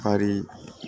Fari